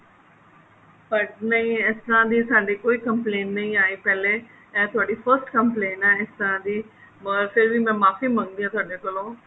but ਨਹੀਂ ਇਸ ਤਰ੍ਹਾਂ ਦੀ ਸਾਡੀ ਕੋਈ complaint ਨਹੀਂ ਆਏ ਪਹਿਲੇ ਇਹ ਤੁਹਾਡੀ first complaint ਹੈ ਇਸ ਤਰ੍ਹਾਂ ਦੀ or ਫੇਰ ਵੀ ਮੈਂ ਮਾਫ਼ੀ ਮੰਗਦੀ ਹਾਂ ਤੁਹਾਡੇ ਕੋਲੋ